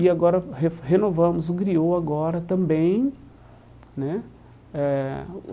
E agora re renovamos um Griô agora também né eh.